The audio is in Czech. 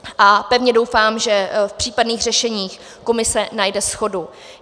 A pevně doufám, že v případných řešeních komise najde shodu.